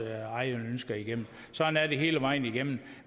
egne ønsker igennem sådan er det hele vejen igennem